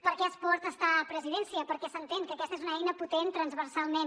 per què esport està a presidència perquè s’entén que aquesta és una eina potent transversalment